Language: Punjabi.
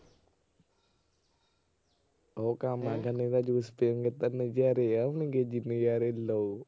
ਉਹ ਗੰਨੇ ਕਾ juice ਪੀਏਂਗੇ ਤਾਂ ਨਜ਼ਾਰੇ ਆਉਣਗੇ ਜੀ ਨਜ਼ਾਰੇ ਲਓ।